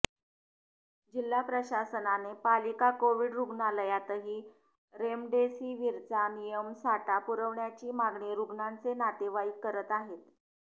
जिल्हा प्रशासनाने पालिका कोविड रुग्णालयातही रेमडेसिवीरचा नियमित साठा पुरवण्याची मागणी रुग्णांचे नातेवाईक करत आहेत